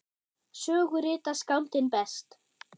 Sögu rita skáldin best.